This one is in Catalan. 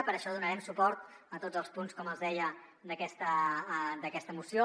per això donarem suport a tots els punts com els deia d’aquesta moció